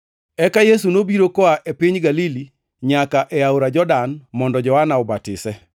Eka Yesu nobiro koa e piny Galili nyaka e aora Jordan mondo Johana obatise.